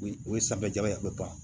O ye sanfɛ jaba ye a bɛ ban